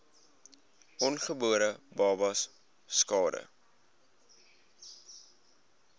ongebore babas skade